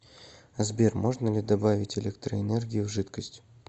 сбер можно ли добавить электроэнергию в жидкость